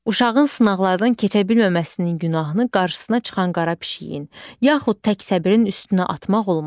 Uşağın sınaqlardan keçə bilməməsinin günahını qarşısına çıxan qara pişiyin, yaxud tək səbirin üstünə atmaq olmaz.